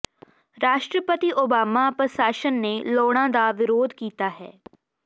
ਰਾਸ਼ਟਰਪਤੀ ਓਬਾਮਾ ਪ੍ਰਸ਼ਾਸਨ ਨੇ ਲੋੜਾਂ ਦਾ ਵਿਰੋਧ ਕੀਤਾ ਹੈ